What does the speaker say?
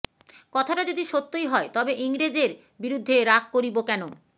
কথাটা যদি সত্যই হয় তবে ইংরেজের বিরুদ্ধে রাগ করিব কেন